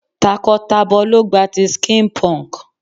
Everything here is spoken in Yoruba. Takọ tabọ lo gba ti skin punk.